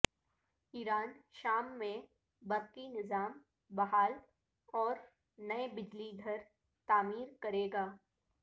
ایران شام میں برقی نظام بحال اور نئے بجلی گھر تعمیر کرے گا